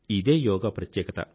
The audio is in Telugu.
ఇదే యోగా ప్రత్యేకత